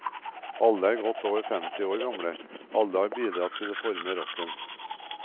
Alle er godt over femti år gamle, alle har bidratt til å forme rocken.